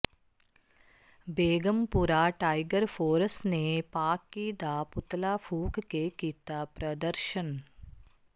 Begampura Tiger Force ਨੇ ਪਾਕਿ ਦਾ ਪੁਤਲਾ ਫੁੂਕ ਕੇ ਕੀਤਾ ਪ੍ਦਰਸ਼ਨ